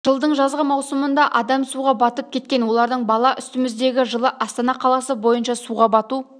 жылдың жазғы маусымында адам суға батып кеткен олардың бала үстіміздегі жылы астана қаласы бойынша суға бату